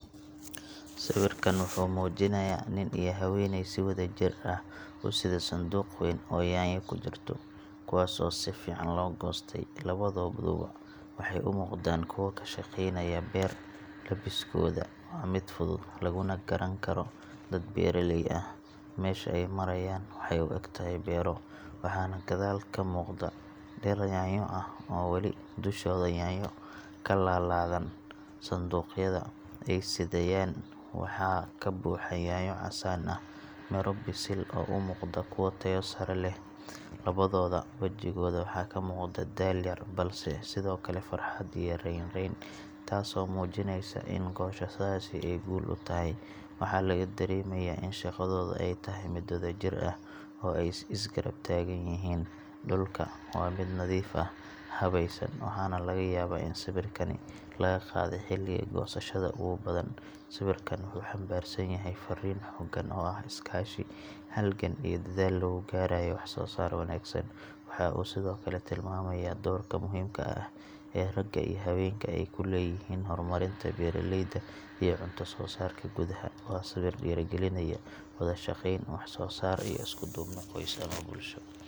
Sawirkan wuxuu muujinayaa nin iyo haweeney si wadajir ah u sida sanduuq weyn oo yaanyo ku jirto, kuwaas oo si fiican loo goostay. Labadooduba waxay u muuqdaan kuwo ka shaqeynaya beer – labiskooda waa mid fudud, laguna garan karo dad beeraley ah. Meesha ay marayaan waxay u egtahay beero, waxaana gadaal ka muuqda dhir yaanyo ah oo wali dushooda yaanyo ka laalaadaan. Sanduuqa ay sidayaan waxaa ka buuxa yaanyo casaan ah, midho bisil oo u muuqda kuwo tayo sare leh. Labadooda wejigooda waxaa ka muuqda daal yar, balse sidoo kale farxad iyo rayn-rayn – taasoo muujinaysa in goosashadaasi ay guul u tahay. Waxaa laga dareemayaa in shaqadooda ay tahay mid wadajir ah, oo ay is garab taagan yihiin. Dhulku waa mid nadiif ah, habaysan, waxaana laga yaabaa in sawirkani laga qaaday xilliga goosashada ugu badan. Sawirkan wuxuu xambaarsan yahay fariin xooggan oo ah iskaashi, halgan iyo dadaal lagu gaarayo wax-soo-saar wanaagsan. Waxa uu sidoo kale tilmaamayaa doorka muhiimka ah ee ragga iyo haweenka ay ku leeyihiin horumarinta beeraleyda iyo cunto-soo-saarka gudaha. Waa sawir dhiirrigelinaya wada shaqeyn, wax-soo-saar, iyo isku duubni qoys ama bulsho.